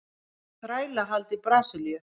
Þrælahald í Brasilíu.